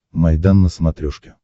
майдан на смотрешке